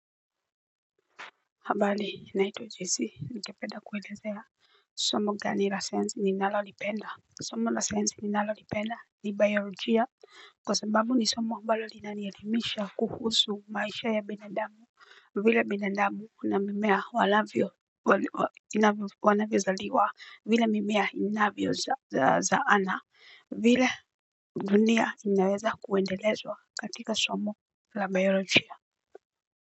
Habari naitwa jesee ningedapenda kuelezea somo gani la science ninalolipenda. Somo la sayansi ninalolipenda ni biolojia kwa sababu ni somo ambalo linanielimisha kuhusu maisha ya binadamu. Vile binadamu na mimea wanavyozaliwa vile mimea inavyozaana vile dunia inaweza kuendelezwa katika somo la biolojia.